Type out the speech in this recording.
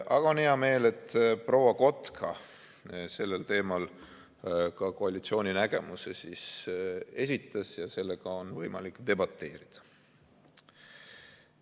Aga on hea meel, et proua Kotka sellel teemal ka koalitsiooni nägemuse esitas ja sellega on võimalik debateerida.